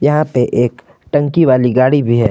यहां पे एक टंकी वाली गाड़ी भी है।